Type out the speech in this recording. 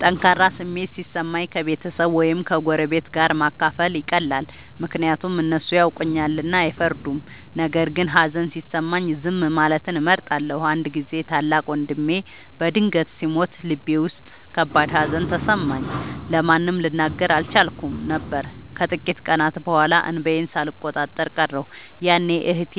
ጠንካራ ስሜት ሲሰማኝ ከቤተሰብ ወይም ከጎረቤት ጋር ማካፈል ይቀላል፤ ምክንያቱም እነሱ ያውቁኛልና አይፈርዱም። ነገር ግን ሀዘን ሲሰማኝ ዝም ማለትን እመርጣለሁ። አንድ ጊዜ ታላቅ ወንድሜ በድንገት ሲሞት ልቤ ውስጥ ከባድ ሀዘን ተሰማኝ፤ ለማንም ልናገር አልቻልኩም ነበር። ከጥቂት ቀናት በኋላ እንባዬን ሳልቆጣጠር ቀረሁ፤ ያኔ እህቴ